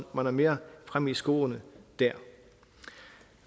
man er mere fremme i skoen dér